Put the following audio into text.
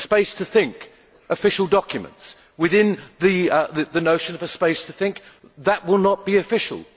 The space to think. Official documents. Within the notion of a space to think, that will not be official.